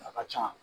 A ka ca